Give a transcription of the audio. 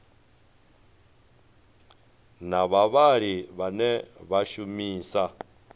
na vhavhali vhane vha shumisa